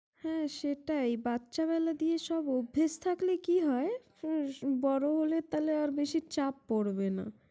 হম সেটাই, বাচ্চা বেলা দিয়ে সব অভ্যাস থাকলে কি হয়, হম বড় হলে তাহলে র বেশি ছাপ পরবে না ।